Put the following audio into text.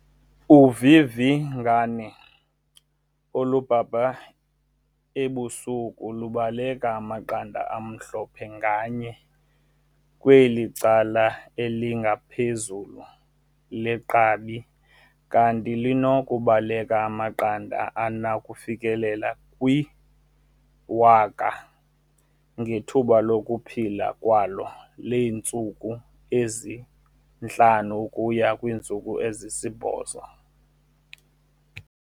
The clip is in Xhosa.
Uvivingane olubhabha ebusuku lubekela amaqanda amhlophe nganye kwicala elingaphezulu legqabi kanti lunokubekela amaqanda anokufikelela kwi-1 000 ngethuba lokuphila kwalo leentsuku ezi-5 ukuya kwezisi-8.